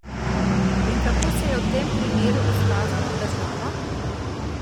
In kako se je v tem primeru izkazala država?